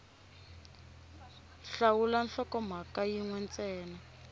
hlawula nhlokomhaka yin we ntsena